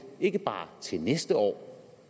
ikke bare til næste år